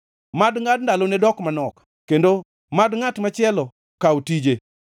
Mad ngʼad ndalone dok manok; kendo mad ngʼat machielo kaw tije.